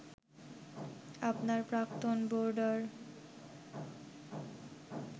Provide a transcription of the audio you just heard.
আপনার প্রাক্তন বোর্ডার